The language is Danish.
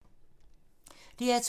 DR2